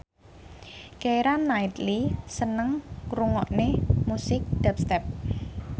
Keira Knightley seneng ngrungokne musik dubstep